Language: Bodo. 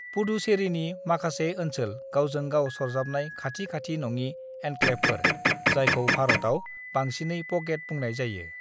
"पुडुचेरीनि माखासे ओनसोल गावजों-गाव सरजाबनाय खाथि-खाथि नङि एन्क्लेवफोर, जायखौ भारतआव बांसिनै 'प'केट' बुंनाय जायो।"